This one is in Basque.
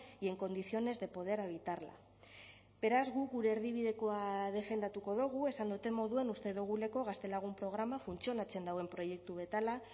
y en condiciones de poder habitarla beraz guk gure erdibidekoa defendatuko dugu esan dudan moduan uste doguleko gaztelagun programa funtzionatzen dauen proiektu bat dela